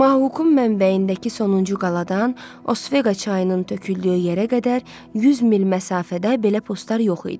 Mohaukun mənbəyindəki sonuncu qaladan Osveqa çayının töküldüyü yerə qədər 100 mil məsafədə belə postlar yox idi.